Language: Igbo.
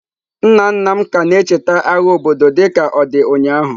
Nna nna m ka na-echeta agha obodo dịka ọ dị ụnyahụ.